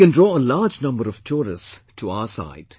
We can draw a very large number of tourists to our side